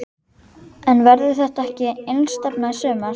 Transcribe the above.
En verður þetta ekki einstefna í sumar?